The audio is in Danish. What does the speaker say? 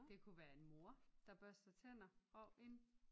Det kunne være en mor der børster tænder og en